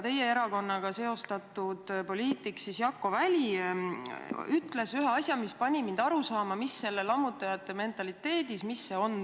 Teie erakonnaga seostatud poliitik Jakko Väli ütles aga ühe asja, mis pani mind lammutajate mentaliteedist aru saama.